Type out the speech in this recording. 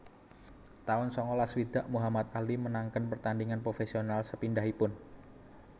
taun sangalas swidak Muhammad Ali menangaken pertandhingan profésional sepindhahipun